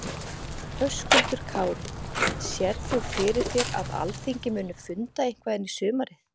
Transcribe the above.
Höskuldur Kári: Sérð þú fyrir þér að Alþingi muni funda eitthvað inn í sumarið?